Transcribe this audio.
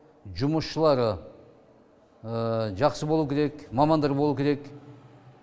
жұмысшылары жақсы болу керек мамандар болу керек